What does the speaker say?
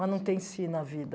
Mas não tem se na vida.